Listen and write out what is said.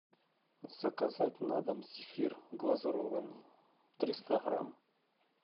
заказать на дом зефир глазированный триста грамм